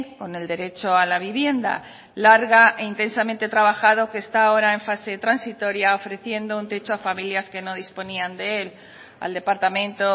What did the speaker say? con el derecho a la vivienda larga e intensamente trabajado que está ahora en fase transitoria ofreciendo un techo a familias que no disponían de él al departamento